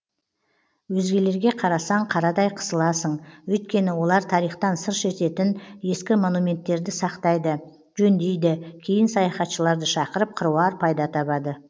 өзгелерге қарасаң қарадай қысыласың өйткені олар тарихтан сыр шертетін ескі монументтерді сақтайды жөндейді кейін саяхатшыларды шақырып қыруар пайда табады